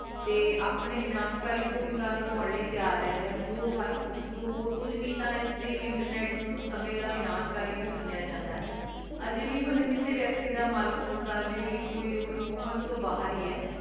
ਤੇ ਅਪਨੇ ਵਿਨਾਸ਼ਕਾਰੀ ਭੂਮਿਕਾ ਬਣਾਂ ਲੈ ਤਯਾਰ ਰੇਹ੍ਨ੍ਡੇ ਹਨ ਜੋ ਹਰ ਏਇਕ ਜੋ ਹੋਰ ਕੁਜ ਨਾਈ ਤਾਂ ਏਸ ਲੈ internet ਨੂ ਸਮੇ ਦਾ ਵਿਨਾਸ਼ਕਾਰੀ ਵੀ ਮਾਨ੍ਯ ਜਾਂਦਾ ਆਯ ਅਜਯ ਵੀ ਮਤਲਬ ਕਿਸੇ ਵਿਅਕਤੀ ਦਾ ਮਲਿਕ ਅਜਯ ਵੀ ਕੋਈ ਓਹੋ ਨਾਈ ਓੜੀ ਪੋਹੰਚ ਤੋਂ ਬਹਿਰ ਈ ਆਯ